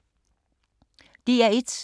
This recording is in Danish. DR1